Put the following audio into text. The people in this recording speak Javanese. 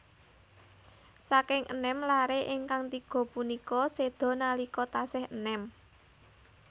Saking enem laré ingkang tiga punika séda nalika tasih enèm